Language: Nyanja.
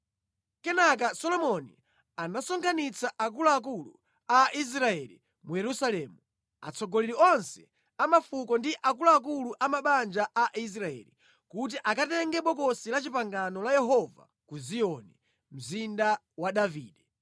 Kenaka Solomoni anasonkhanitsa akuluakulu a Israeli mu Yerusalemu, atsogoleri onse a mafuko ndi akuluakulu a mabanja a Aisraeli, kuti akatenge Bokosi la Chipangano la Yehova ku Ziyoni, mzinda wa Davide.